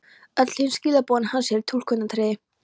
Öll hin skilaboðin hans eru túlkunaratriði.